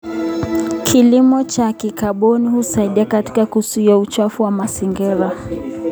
Kilimo cha kikaboni husaidia katika kuzuia uchafuzi wa mazingira.